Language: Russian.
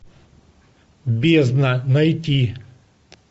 бездна найти